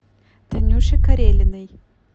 танюше карелиной